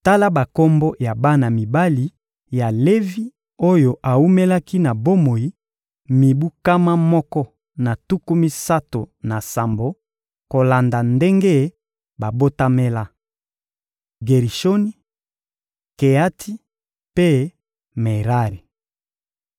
Tala bakombo ya bana mibali ya Levi oyo awumelaki na bomoi mibu nkama moko na tuku misato na sambo kolanda ndenge babotamela: Gerishoni, Keati mpe Merari.